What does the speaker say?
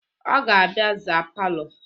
Ọ ga-abịa zaa palọ